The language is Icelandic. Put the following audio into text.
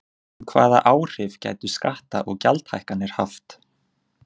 En hvaða áhrif gætu skatta- og gjaldahækkanir haft?